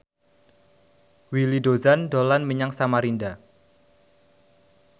Willy Dozan dolan menyang Samarinda